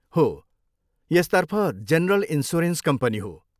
हो, यसतर्फ general insurance company हो।